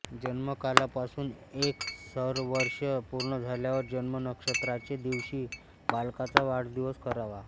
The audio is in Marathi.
जन्मकालापासुन एक सौरवर्ष पूर्ण झाल्यावर जन्मनक्षत्राचे दिवशी बालकाचा वाढदिवस करावा